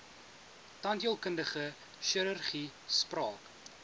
tandheelkundige chirurgie spraak